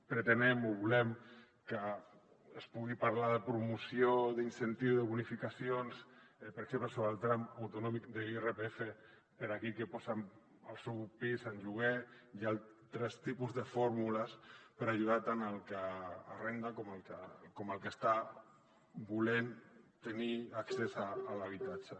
pretenem o volem que es pugui parlar de promoció d’incentius de bonificacions per exemple sobre el tram autonòmic de l’irpf per a aquell que posa el seu pis en lloguer i altres tipus de fórmules per ajudar tant el que arrenda com el que està volent tenir accés a l’habitatge